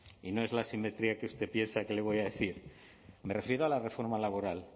y no es la asimetría que usted piensa que le voy a decir me refiero a la reforma laboral